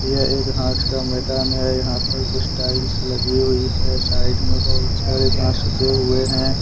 यह एक घास का मैदान है। यहां पर कुछ टाइल्स लगी हुई है साइड में बहोत सारे घास उगे हुए हैं ।